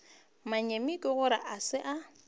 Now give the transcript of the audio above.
manyami ke gore a se